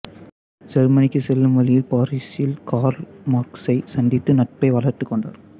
செருமனிக்கு செல்லும் வழியில் பாரீசில் கார்ல் மார்க்சை சந்தித்து நட்பை வளர்த்துக் கொண்டார்